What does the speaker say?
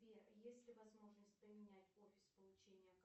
сбер есть ли возможность поменять офис получения